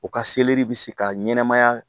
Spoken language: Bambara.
U ka selɛri bi se ka ɲɛnɛmaya